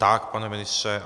Tak, pane ministře.